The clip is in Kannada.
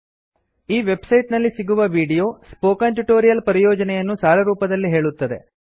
ಈ ವೆಬ್ ಸೈಟ್ ನಲ್ಲಿ ಸಿಗುವ ವಿಡಿಯೋ ಸ್ಪೋಕನ್ ಟ್ಯೂಟೋರಿಯಲ್ ಪರಿಯೋಜನೆಯನ್ನು ಸಾರರೂಪದಲ್ಲಿ ಹೇಳುತ್ತದೆ